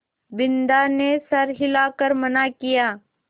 बिन्दा ने सर हिला कर मना किया